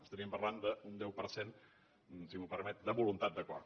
parlaríem d’un deu per cent si m’ho permet de voluntat d’acord